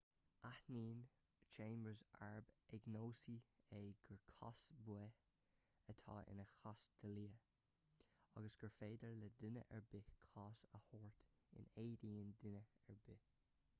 áitíonn chambers arb agnóisí é gur cás baoth atá ina chás dlí agus gur féidir le duine ar bith cás a thabhairt in éadan duine ar bith